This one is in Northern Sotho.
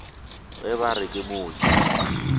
ge ba re o mooki